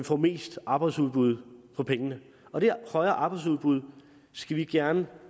får mest arbejdsudbud for pengene og det højere arbejdsudbud skal vi gerne